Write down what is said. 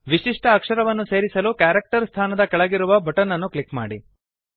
ವಿಶಿಷ್ಟ ಅಕ್ಷರವನ್ನು ಸೇರಿಸಲು ಕ್ಯಾರೆಕ್ಟರ್ ಸ್ಥಾನದ ಕೆಳಗಿರುವ ಬಟನ್ ಅನ್ನು ಕ್ಲಿಕ್ ಮಾಡಿ